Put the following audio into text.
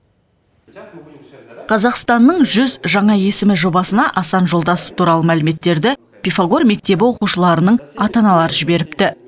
қазақстанның жүз жаңа есімі жобасына асан жолдасов туралы мәліметтерді пифагор мектебі оқушыларының ата аналары жіберіпті